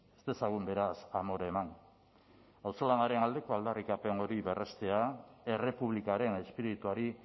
ez dezagun beraz amore eman auzolanaren aldeko aldarrikapen hori berrestea errepublikaren espirituari